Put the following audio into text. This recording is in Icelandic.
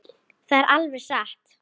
Það er alveg satt.